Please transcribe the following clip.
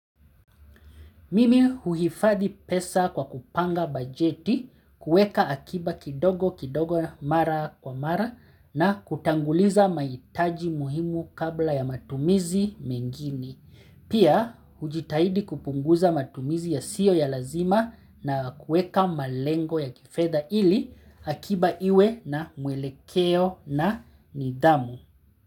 Mimi huhifadhi pesa kwa kupanga bajeti kueka akiba kidogo kidogo mara kwa mara na kutanguliza mahitaji muhimu kabla ya matumizi mengine Pia hujitahidi kupunguza matumizi yasiyo ya lazima na kueka malengo ya kifedha ili akiba iwe na mwelekeo na nidhamu.